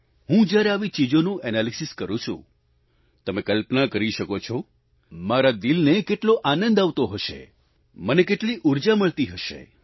હું જ્યારે આવી ચીજોનું એનાલિસિસ કરું છું તમે કલ્પના કરી શકો છો મારા દિલને કેટલો આનંદ આવતો હશે મને કેટલી ઉર્જા મળતી હશે